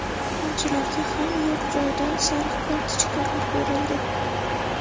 Futbolchilarga ham yo‘q joydan sariq kartochkalar berildi.